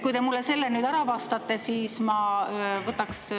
Kui te mulle nüüd ära vastate, siis ma võtaks …